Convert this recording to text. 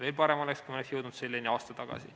Veel parem oleks, kui me oleks jõudnud selleni aasta tagasi.